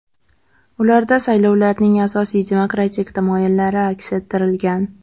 Ularda saylovlarning asosiy demokratik tamoyillari aks ettirilgan.